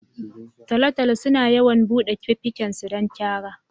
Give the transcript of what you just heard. Taltalo sunu yawan buɗe fifigen su don cara